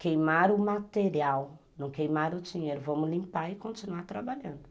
queimar o material, não queimar o dinheiro, vamos limpar e continuar trabalhando.